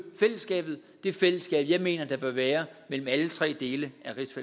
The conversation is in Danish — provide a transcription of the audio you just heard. fællesskabet det fællesskab jeg mener der bør være mellem alle tre dele